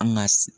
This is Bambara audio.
An ka